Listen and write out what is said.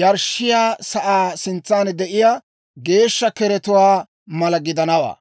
yarshshiyaa sa'aa sintsan de'iyaa geeshsha keretuwaa mala gidanawaa.